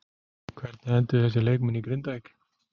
Hvernig enduðu þessir leikmenn í Grindavík?